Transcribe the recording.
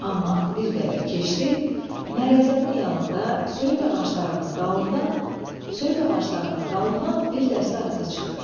Amma bir qədər keçdi, Mərəzənin yanında söyüd ağaclarının dalından söyüd ağaclarının dalından bir dəstə atlı çıxdı.